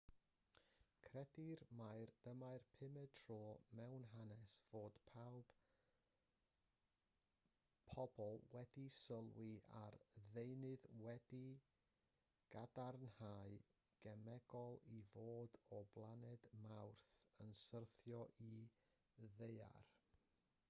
credir mai dyma'r pumed tro mewn hanes fod pobl wedi sylwi ar ddeunydd wedi'i gadarnhau'n gemegol i fod o blaned mawrth yn syrthio i'r ddaear